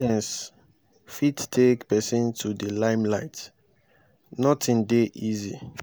na resilience fit take pesin to di limelight nothing dey easy.